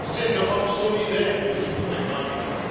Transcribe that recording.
C'est l'Europe solidaire qu'il nous faudrait inventer.